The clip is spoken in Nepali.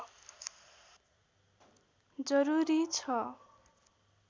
जरुरी छ